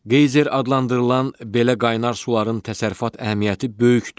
Qeyzer adlandırılan belə qaynar suların təsərrüfat əhəmiyyəti böyükdür.